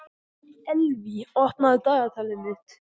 Elvý, opnaðu dagatalið mitt.